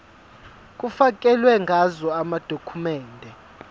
kufakelwe ngazo amadokhumende